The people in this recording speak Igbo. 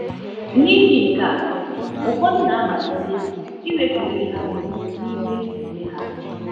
N’ihi nke a, ụfọdụ na-amalite iwepu onwe ha n’ime onwe ha.